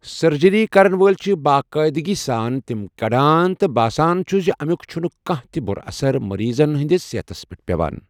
Surgery کرَن وٲلۍ چھِ باقاعدٕگی سان تِم کڑان، تہٕ باسان چھُ زِ اَمیُک چھُنہٕ کانٛہہ تہِ بُرٕ اثر مریضَن ہِنٛدِس صحتَس پیٹھ پیوان۔